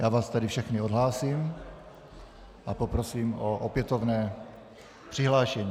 Já vás tedy všechny odhlásím a poprosím o opětovné přihlášení.